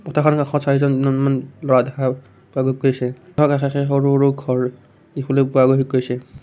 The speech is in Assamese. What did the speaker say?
পথাৰখনৰ কাষত চাৰিজন দুজনমান ল'ৰা দেখা পোৱা গৈছে য'ৰ কাষে কাষে সৰু সৰু ঘৰ দেখিবলৈ পোৱা গৈছে।